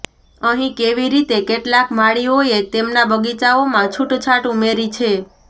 અહીં કેવી રીતે કેટલાક માળીઓએ તેમના બગીચાઓમાં છૂટછાટ ઉમેરી છે